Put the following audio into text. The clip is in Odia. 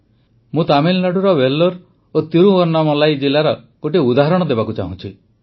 ମୁଁ ତାମିଲନାଡ଼ୁର ଭେଲ୍ଲୋର ଓ ତିରୁୱନ୍ନାମଲାଇ ଜିଲ୍ଲାର ଗୋଟିଏ ଉଦାହରଣ ଦେବାକୁ ଚାହୁଁଛି